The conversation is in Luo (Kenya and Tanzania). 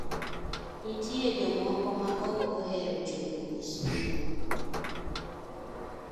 Nitie jomoko ma ok ohero chulo osuru.